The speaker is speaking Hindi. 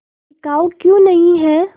बिकाऊ क्यों नहीं है